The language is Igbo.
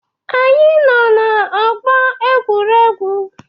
Anyị nọ n'ọgbọ egwuregwu?